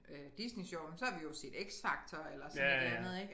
Øh Disney Sjov men så har vi jo set X Factor eller sådan et eller andet ik